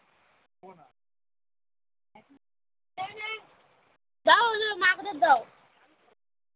ওদের দাও